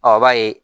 Ɔ b'a ye